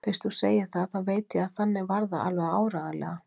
Fyrst þú segir það, þá veit ég að þannig var það alveg áreiðanlega.